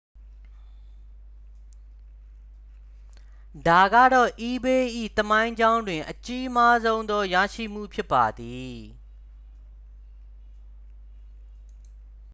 ဒါကတော့ ebay ၏ သမိုင်းကြောင်းတွင် အကြီးမားဆုံးသော ရရှိမှု ဖြစ်ပါသည်